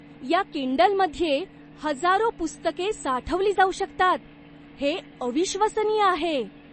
या किंडलमध्ये हजारो पुस्तके साठवली जाऊ शकतात. हे अविश्वसनीय आहे!